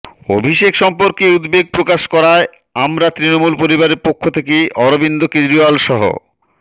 অভিষেক সম্পর্কে উদ্বেগপ্রকাশ করায় আমরা তৃণমূল পরিবারের পক্ষ থেকে অরবিন্দ কেজরিওয়াল সহ